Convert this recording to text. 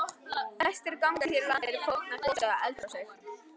Flestir gangar hér á landi eru fornar gos- eða eldrásir.